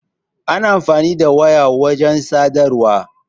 Ana amfani da waya wajen sadarwa.